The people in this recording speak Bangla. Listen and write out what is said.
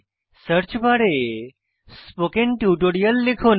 সার্চ বারে স্পোকেন টিউটোরিয়াল লিখুন